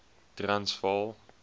transvaal